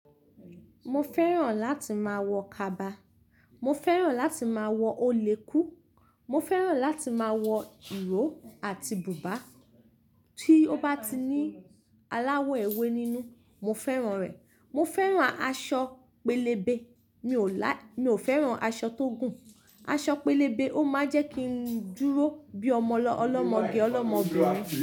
Mo fẹ́ràn láti máa wọ kaba, mo fẹ́ràn láti máa wọ olèkú, mo fẹ́ràn láti máa wọ ìró àti bùbá. Tí ó bá ti ní aláwọ̀ ewé nínú, mo fẹ́ràn rẹ̀. Mo fẹ́ràn aṣọ pélébé, mi ò lá-- mi ò fẹ́ràn aṣọ tó gùn. Aṣọ pélébé ó máa ń jẹ́ kí n dúró bí ọmọlọ-- ọlọ́mọge ọlọ́mọbirin.